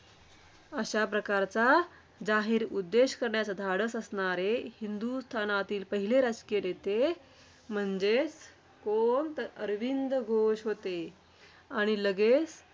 अशा प्रकारचा जाहीर उद्देश करण्याचे धाडस असणारे. हिंदुस्थानातील पहिले राजकीय नेते म्हणजे कोण? तर अरविंद घोष होते. आणि लगेच